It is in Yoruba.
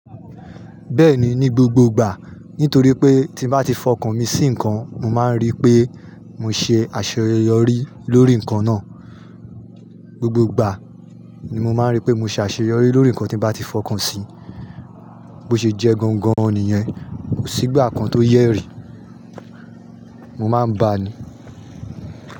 Bẹ́ẹ̀ni, ni gbogbo ìgbà. Nítorí pé tí mo bá ti fọkàn mi sí ǹkan, mo máa ń rí pé mo ṣe àṣeyọrí lórí ǹkan náà. Gbogbo ìgbà ni mo máa ń rí pé mo ṣe àṣeyọrí lórí ǹkan tí mo bá ti fọkàn sí. Bo ṣe jẹ́ gangan nìyẹn, kò sí ìgbà kan tó yẹ́ rì í, mo máa ń bá a ni.